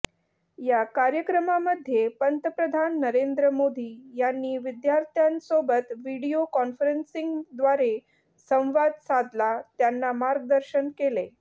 या कार्यक्रमामध्ये पंतप्रधान नरेंद्र मोदी यांनी विद्यार्थ्यांसोबत व्हिडिओ कॉन्फरन्सिंगद्वारे संवाद साधला त्यांना मार्गदर्शन केले